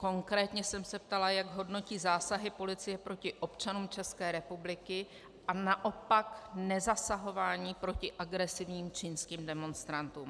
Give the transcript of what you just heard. Konkrétně jsem se ptala, jak hodnotí zásahy policie proti občanům České republiky a naopak nezasahování proti agresivním čínským demonstrantům.